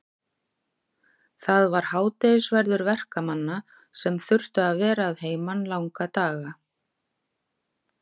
Það var hádegisverður verkamanna sem þurftu að vera að heiman langa daga.